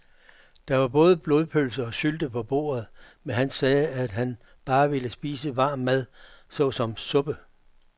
Der var både blodpølse og sylte på bordet, men han sagde, at han bare ville spise varm mad såsom suppe.